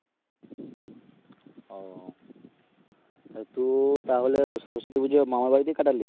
ও তু তাহলে সরস্বতী পূজায় মামার বাড়িতে কাটালি?